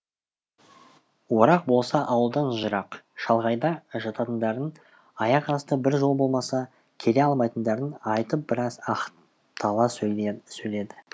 орақ болса ауылдан жырақ шалғайда жататындарын аяқ асты бір жол болмаса келе алмайтындарын айтып біраз ақтала сөйледі